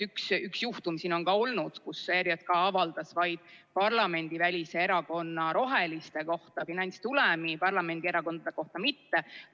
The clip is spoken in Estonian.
Üks juhtum siin on ka olnud, kus ERJK avaldas vaid parlamendivälise erakonna – Eestimaa Roheliste – kohta finantstulemi, parlamendierakondade kohta mitte.